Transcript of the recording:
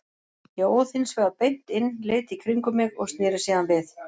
Ég óð hins vegar beint inn, leit í kringum mig og sneri síðan við.